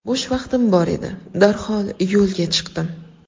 Bo‘sh vaqtim bor edi, darhol yo‘lga chiqdim.